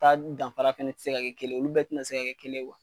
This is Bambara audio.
Taa danfara fɛnɛ tɛ se ka kelen ye, olu bɛɛ tɛna se ka kɛ kelen .